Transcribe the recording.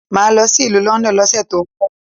Máà lọ sí ìlú London lọ́sẹ̀ tó ń bọ